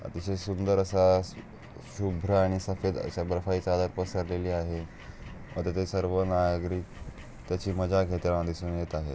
अतिशय सुंदर आस शुभ्र आणि सफेद आस बर्फाची चादर पसरलेली आहे.आता ते सर्व नागरिक त्याची मजा घेताना दिसून येत आहे.